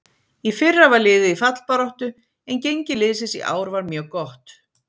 Í fyrra var liðið í fallbaráttu en gengi liðsins í ár var mjög gott.